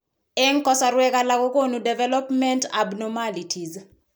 en kasarwek alak kogonu development abnormalities